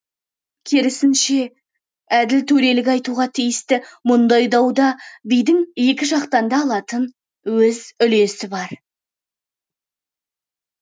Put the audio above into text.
керісінше әділ төрелік айтуға тиісті мұндай дауда бидің екі жақтан да алатын өз үлесі бар